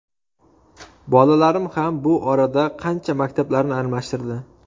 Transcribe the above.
Bolalarim ham bu orada qancha maktablarni almashtirdi.